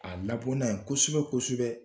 A labɔ n'a ye kosɛbɛ-kosɛbɛ